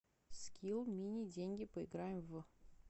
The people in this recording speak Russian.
скилл мини деньги поиграем в